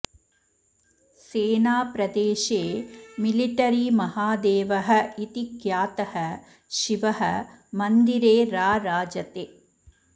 सेनाप्रदेशे military महादेवः इति ख्यातः शिवः मन्दिरे राराजते